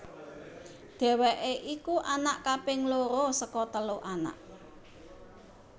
Dheweké iku anak kaping loro saka telu anak